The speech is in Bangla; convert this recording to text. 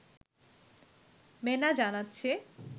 মেনা জানাচ্ছে